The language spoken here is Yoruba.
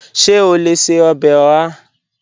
Ṣe o le ṣe ọbẹ oha?